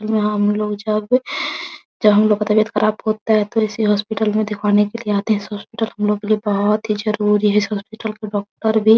यहाँ हम लोग जब जब हम लोग का तबीयत खराब होता है तो इसी हॉस्पिटल में दिखवाने के लिए आते हैं इस हॉस्पिटल से हम लोगों के लिए बहुत ही जरूरी है इस हॉस्पिटल के डॉक्टर भी।